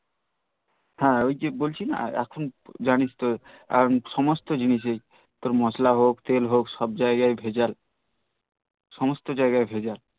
হ্যাঁ ওইজে বলছি না এখন সমস্ত জিনিসে তোর মশলা হোক তেল হোক সব জাইগায় ভেজাল সমস্ত জাইগায় ভেজাল